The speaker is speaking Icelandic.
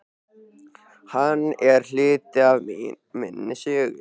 Hann er hluti af minni sögu.